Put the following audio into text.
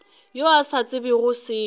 yo a sa tsebego selo